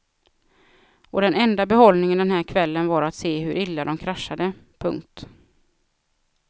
Och den enda behållningen den här kvällen var att se hur illa de kraschade. punkt